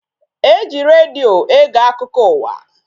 E ji redio ege akụkọ ụwa